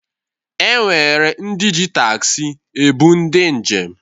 E nwere ndị ji taxi ebụ ndị njem.